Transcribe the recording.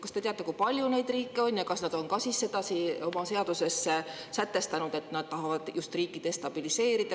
Kas te teate, kui palju neid riike on ja kas nad on ka sedasi oma seaduses sätestanud, et nad tahavad just riiki destabiliseerida?